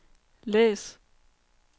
læs